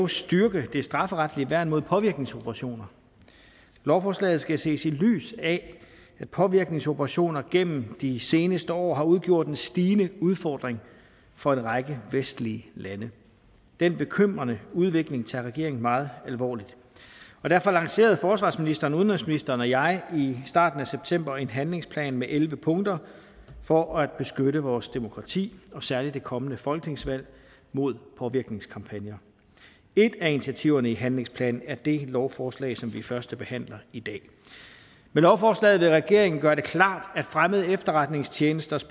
styrke det strafferetlige værn mod påvirkningsoperationer lovforslaget skal ses i lyset af at påvirkningensoperationer gennem de seneste år har udgjort en stigende udfordring for en række vestlige lande den bekymrende udvikling tager regeringen meget alvorligt og derfor lancerede forsvarsministeren og udenrigsministeren og jeg i starten af september en handlingsplan med elleve punkter for at beskytte vores demokrati og særlig det kommende folketingsvalg mod påvirkningskampagner et af initiativerne i handlingsplanen er det lovforslag som vi førstebehandler i dag med lovforslaget vil regeringen gøre det klart at fremmede efterretningstjenesters